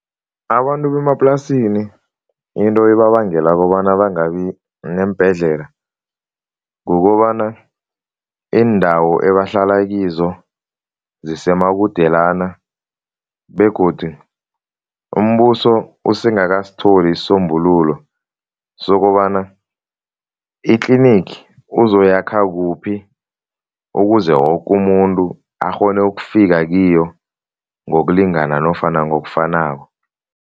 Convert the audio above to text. Abantu bemaplasini into ebabangela kobana bangabi neembhedlela kukobana iindawo ebahlala kizo zisemakudelana begodu umbuso usengakasitholi isisombululo sokobana itlinigi uzoyakha kuphi ukuze woke umuntu akghone ukufika kiyo ngokulingana nofana ngokufanako.